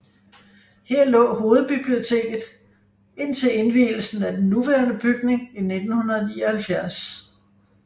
Her lå hovedbiblioteket indtil indvielsen af den nuværende bygning i 1979